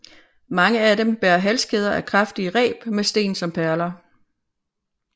Mange af dem bærer halskæder af kraftige reb med sten som perler